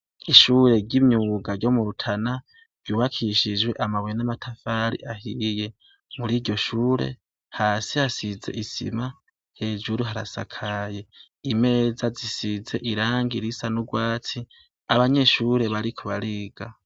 Ishure ry’imyuga ryo mu Rutana, ryubakishije amabuye n’amatafari ahiye, muriryo shure, hasi hasize isima, hejuru harasakaye, imeza zisize irangi risa n’urwatsi, abanyeshure bariko bariga.